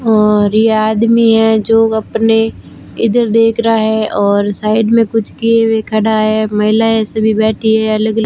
और यह आदमी है जो अपने इधर देख रहा है और साइड में कुछ किए हुए खड़ा है महिलाएं ऐसे बैठी है अलग अलग--